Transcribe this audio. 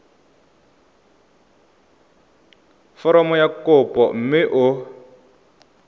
foromo ya kopo mme o